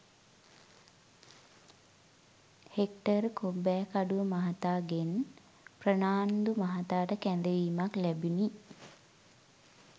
hectare Kobbekaduwa මහතා ගෙන් ප්‍රනාන්දු මහතාට කැඳවීමක් ලැබුණි